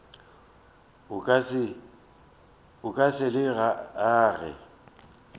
o ka se le age